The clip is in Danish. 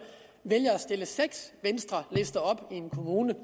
vælge at stille seks venstrelister op i en kommune